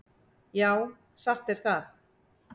Já, satt er það.